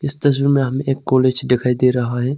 इस तस्वीर में हमे एक कॉलेज दिखाई दे रहा है।